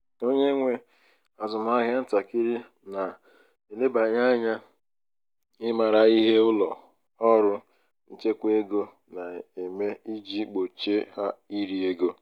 onye nwe azụmahịa ntakịrị na-elebanye ányá ịmara ihe ụlọ ọrụ nchekwa ego na-eme iji gbochie ha iri ego.